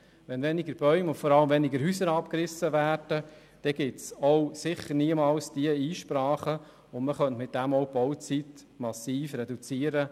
Wenn weniger Bäume und vor allem weniger Häuser abgerissen werden, dann gibt es auch sicher niemals diese Einsprachen, und man könnte damit auch die Bauzeit massiv reduzieren.